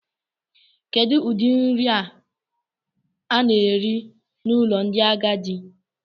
Kedu ụdị nri a na-eri n'ụlọ ndị agadi?